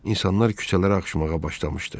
İnsanlar küçələrə axışmağa başlamışdı.